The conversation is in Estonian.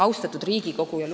Austatud Riigikogu!